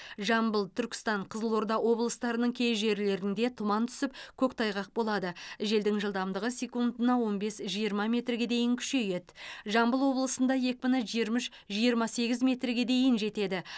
жамбыл түркістан қызылорда облыстарының кей жерлерінде тұман түсіп көктайғақ болады желдің жылдамдығы секундына он бес жиырма метрге дейін күшейеді жамбыл облысында екпіні жиырма үш жиырма сегіз метрге дейін жетеді